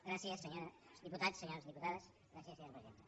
gràcies senyors diputats senyores diputades gràcies senyora presidenta